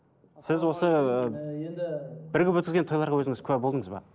бірігіп өткізген тойларға өзіңіз куә болдыңыз ба